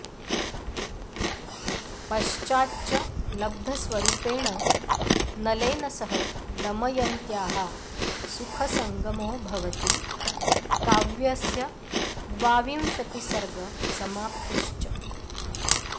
पश्चाच्च लब्धस्वरूपेण नलेन सह दमयन्त्याः सुखसङ्गमो भवति काव्यस्य द्वाविंशतिसर्गसमाप्तिश्च